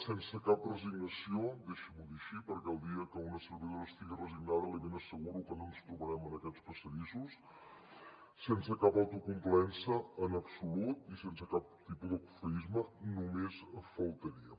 sense cap resignació deixi m’ho dir així perquè el dia que una servidora estigui resignada li ben asseguro que no ens trobarem en aquests passadissos sense cap autocomplaença en absolut i sense cap tipus de cofoisme només faltaria